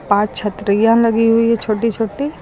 पांच छतरियां लगी हुई है छोटी छोटी।